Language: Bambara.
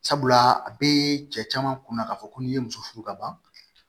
Sabula a bee cɛ caman kunna k'a fɔ ko n'i ye muso furu ka ban